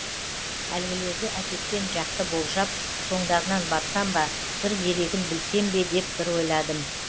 әлгілерді әкеткен жақты болжап соңдарынан барсам ба бір дерегін білсем бе деп бір ойладым